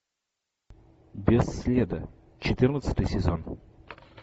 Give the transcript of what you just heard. без следа четырнадцатый сезон